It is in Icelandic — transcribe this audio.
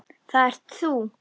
Það ert þú!